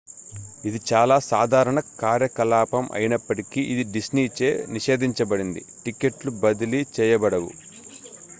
ఇది చాలా సాధారణ కార్యకలాపం అయినప్పటికీ ఇది డిస్నీ చే నిషేధించబడింది టిక్కెట్లు బదిలీ చేయబడవు